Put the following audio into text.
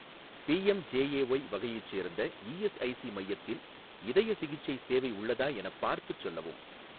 PMJAY வகையைச் சேர்ந்த ESIC மையத்தில் இதயச் சிகிச்சை சேவை உள்ளதா எனப் பார்த்துச் சொல்லவும்